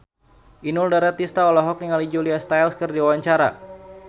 Inul Daratista olohok ningali Julia Stiles keur diwawancara